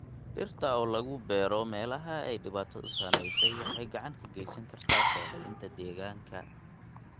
Dhirta oo lagu beero meelaha ay dhibaatadu saameysey waxay gacan ka geysan kartaa soo celinta deegaanka.